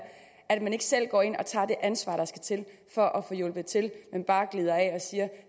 at man ikke selv går ind og tager det ansvar der skal til for at få hjulpet til men bare glider af og siger